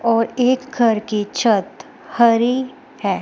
और एक घर की छत हरी है।